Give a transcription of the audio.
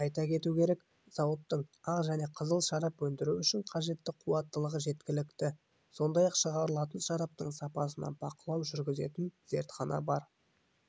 айта кету керек зауыттың ақ және қызыл шарап өндіру үшін қажетті қуаттылығы жеткілікті сондай-ақ шығарылатын шараптың сапасына бақылау жүргізетін зертхана бар